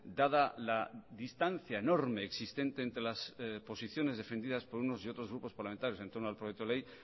dada la distancia enorme existente entre las posiciones defendidas por unos y otros grupos parlamentarios entorno al proyecto de ley